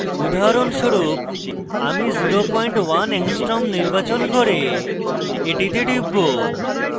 উদাহরণস্বরূপ আমি 01 angstrom নির্বাচন করে এটিতে টিপব